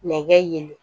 Nɛgɛ ye